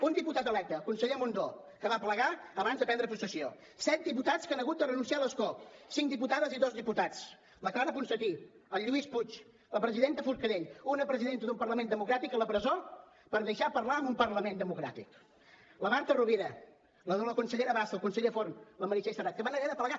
un diputat electe el conseller mundó que va plegar abans de prendre possessió set diputats que han hagut de renunciar a l’escó cinc diputades i dos diputats la clara ponsatí el lluís puig la presidenta forcadell una presidenta d’un parlament democràtic a la presó per deixar parlar en un parlament democràtic la marta rovira la consellera bassa el conseller forn la meritxell serret que van haver de plegar